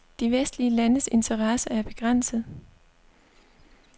De vestlige landes interesse er begrænset.